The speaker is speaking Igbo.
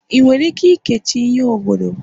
ị nwere ike keechi ihe oghodo?